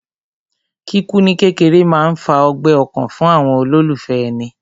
Kíkú ní kékeré máa ń fa ọgbẹ́ ọkàn fún àwọn olólùfẹ́ èni